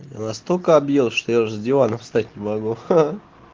я настолько объел что я аж с дивана встать не могу ха-ха